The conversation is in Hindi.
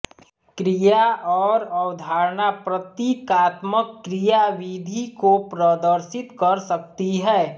क्रिया और अवधारणा प्रतिकात्मक क्रियाविधि को प्रदर्शित कर सकती हैं